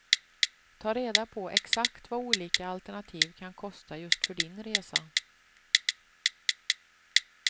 Ta reda på exakt vad olika alternativ kan kosta just för din resa.